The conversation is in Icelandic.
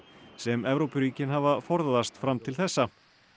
sem Evrópuríkin hafa forðast fram til þessa